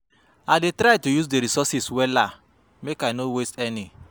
I dey try to use di resources wella make i no waste any.